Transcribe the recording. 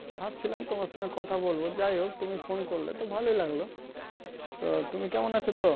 ভাবছিলাম তোমার সঙ্গে কথা বলবো যাই হোক তুমি phone করলে তো ভালোই লাগলো তো তুমি কেমন আছো তো